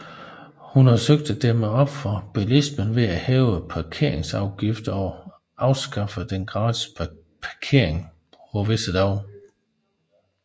Hun har søgt at dæmme op for bilismen ved at hæve parkeringsafgifter og afskaffe den gratis parkering på visse dage